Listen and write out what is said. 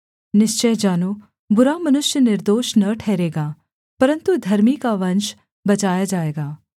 निश्‍चय जानो बुरा मनुष्य निर्दोष न ठहरेगा परन्तु धर्मी का वंश बचाया जाएगा